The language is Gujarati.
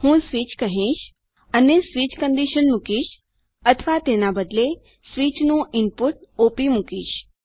હું સ્વિચ કહીશ અને સ્વિચ શરત મુકીશ અથવા તેના બદલે સ્વિચ નું ઇનપુટ ઓપ મુકીશ